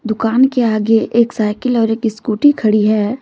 दुकान के आगे एक साइकिल और एक स्कूटी खड़ी है।